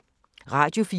Radio 4